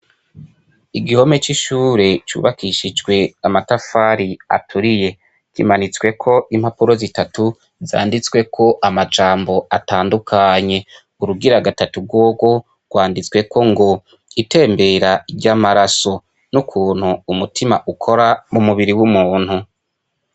Igihome c'ishure cubakishijwe amatafari aturiye, kimanitsweko impapuro zitatu zanditswe ko amajambo atandukanye, urugira gatatu rworwo rwanditsweko ngo itembera ry'amaraso n'ukuntu umutima ukora mu mubiri w'umuntu.